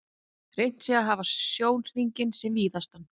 Reynt sé að hafa sjónhringinn sem víðastan.